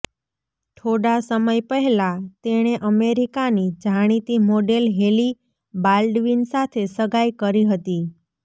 થોડા સમય પહેલા તેણે અમેરિકાની જાણીતી મોડેલ હેલી બાલ્ડવિન સાથે સગાઈ કરી હતી